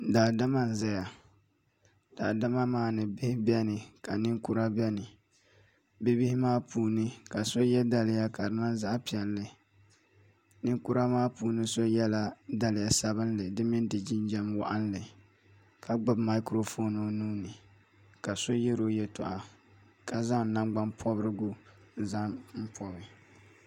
daadama n-zaya daadama maa ni bihi beni ka ninkura beni bibihi maa puuni ka so ye daliya ka di niŋ zaɣ' piɛlli ninkura maa puuni so yɛla daliya sabilinli di mini di jinjam waɣinli ka gbubi maikurofoon o nuu ni ka so yɛri o yɛltɔɣa ka zaŋ nangbanipɔbirigu n-zaŋ pɔbi